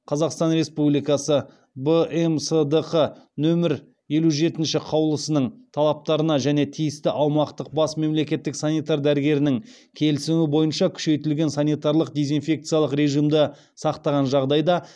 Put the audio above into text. қазақстан республикасы бмсдқ нөмір елу жетінші қаулысының талаптарын және тиісті аумақтық бас мемлекеттік санитар дәрігерінің келісімі бойынша күшейтілген санитарлық дезинфекциялық режимді сақтаған жағдайда